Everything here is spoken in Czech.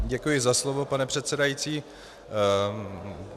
Děkuji za slovo, pane předsedající.